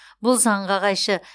бұл заңға қайшы